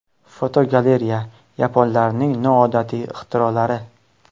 Fotogalereya: Yaponlarning noodatiy ixtirolari.